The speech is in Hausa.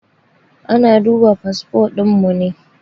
Ana duba fasfo ɗin mu ne.